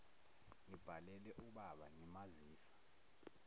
ngibhalele ubaba ngimazisa